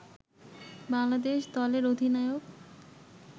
বাংলাদেশ দলের অধিনায়ক